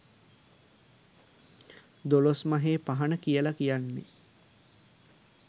දොළොස් මහේ පහන කියල කියන්නේ